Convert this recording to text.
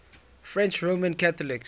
french roman catholics